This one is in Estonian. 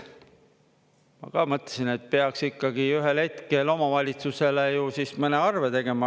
Ma mõtlesin, et peaks ikkagi ühel hetkel omavalitsusele ju siis mõne arve tegema.